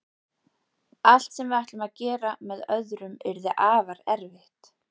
Allt sem við ætlum að gera með öðrum yrði afar erfitt.